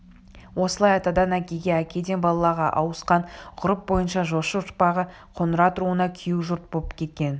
осылай атадан әкеге әкеден балаға ауысқан ғұрып бойынша жошы ұрпағы қоңырат руына күйеу жұрт боп кеткен